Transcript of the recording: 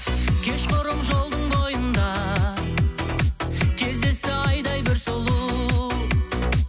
кеш құрым жолдың бойында кездесті айдай бір сұлу